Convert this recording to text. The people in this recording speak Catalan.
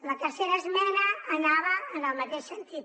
la tercera esmena anava en el mateix sentit